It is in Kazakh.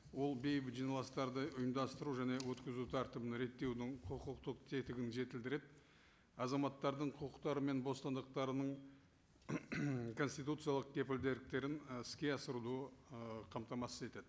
ол бейбіт жиналыстарды ұйымдастыру және өткізу тәртібін реттеудің құқықтық тетігін жетілдіріп азаматтардың құқықтары мен бостандықтарының конституциялық ы іске асыруды ы қамтамасыз етеді